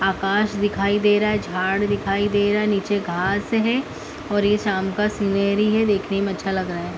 आकाश दिखाई दे रहा है झाड़ दिखाई दे रहा है नीचे घास है और ये शाम का सीनेरी है देखने में अच्छा लग रहा है।